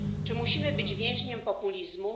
Czy musimy być więźniami populizmu?